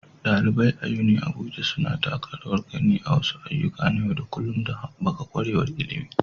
ɗalibai a UniAbuja suna taka rawar gani a wasu ayyuka na yau da kullun don haɓaka ƙwarewar ilimi.